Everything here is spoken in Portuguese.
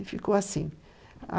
E ficou assim.